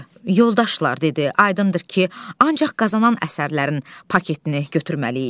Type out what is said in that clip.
Yoldaşlar, dedi, aydındır ki, ancaq qazanan əsərlərin paketini götürməliyik.